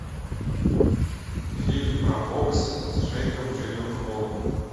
фильм про бокс с джейком джилленхолом